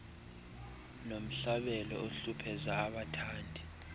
nomhlabelo ohlupheza abathandi